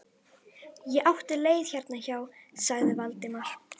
Ég átti leið hérna hjá- sagði Valdimar.